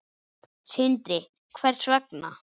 Sindri: Hvers vegna?